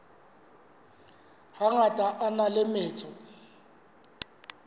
hangata a na le metso